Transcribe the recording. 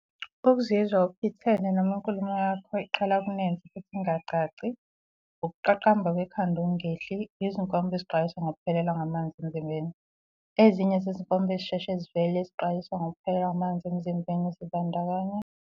Ukuzizwa uphithene noma inkulumo yakho iqala ukunensa futhi ingacaci. Ukuqaqamba kwekhanda okungehli. Izinkomba ezixwayisa ngokuphelelwa ngamanzi emzimbeni. Ezinye zezinkomba ezisheshe zivele ezixwayisa ngokuphelelwa ngamanzi emzimbeni zibandakanya.